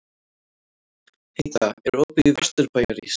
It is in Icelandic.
Heida, er opið í Vesturbæjarís?